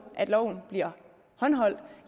at loven bliver håndhævet